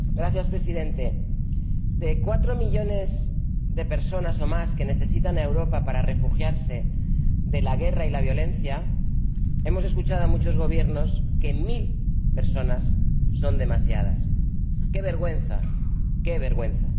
Señor Presidente, con respecto a los cuatro millones de personas o más que necesitan a Europa para refugiarse de la guerra y la violencia, hemos escuchado a muchos Gobiernos decir que mil personas son demasiadas. ¡Qué vergüenza, qué vergüenza!